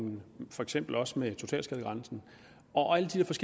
og for eksempel også med totalskadegrænsen og alle